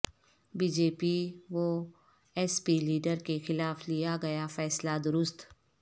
be J P و S P leader کے خلاف لیاگیا فیصلہ درست